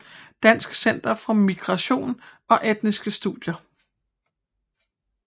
Dansk Center for Migration og Etniske Studier